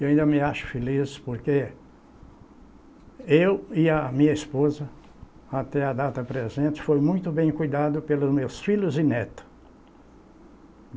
Eu ainda me acho feliz porque eu e a minha esposa, até a data presente, fomos muito bem cuidados pelos meus filhos e netos.